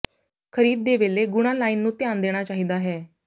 ਖਰੀਦ ਦੇ ਵੇਲੇ ਗੁਣਾ ਲਾਈਨ ਨੂੰ ਧਿਆਨ ਦੇਣਾ ਚਾਹੀਦਾ ਹੈ